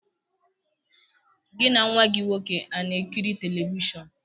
Gị na nwa gị nwoke a na-ekiri telivishọn?